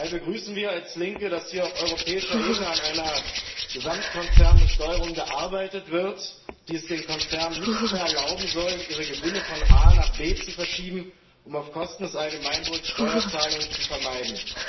Daher begrüßen wir als Linke, dass hier auf europäischer Ebene an einer Gesamtkonzernbesteuerung gearbeitet wird, die es den Konzernen nicht mehr erlauben soll, ihre Gewinne von A nach B zu verschieben, um auf Kosten des Allgemeinwohls Steuerzahlungen zu vermeiden.